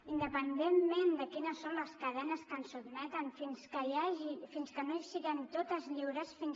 independentment de quines són les cadenes que ens sotmeten fins que no siguem totes lliures